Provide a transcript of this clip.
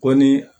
Ko ni